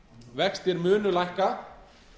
vextir munu lækka